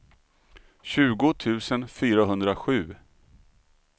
tjugo tusen fyrahundrasju